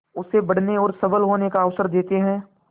उसे बढ़ने और सबल होने का अवसर देते हैं